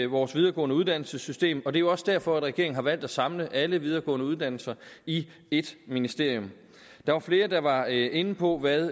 vores videregående uddannelses system og det er jo også derfor at regeringen har valgt at samle alle videregående uddannelser i ét ministerium der var flere der var inde på hvad